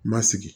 Ma sigi